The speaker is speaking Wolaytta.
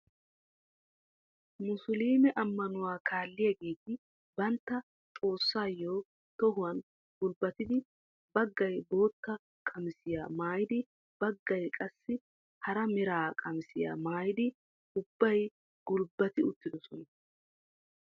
Musuluume ammanuwaa kalliyaageti bantta xoossaayo tohuwaan gulbbatidi baggay bootta qamisiyaa maayidi baggay qassi hara mera qamisiyaa maayidi ubbay gulbbati uttidosona.